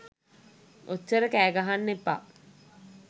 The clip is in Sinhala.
ඔච්චර කෑ ගහන්න එපා.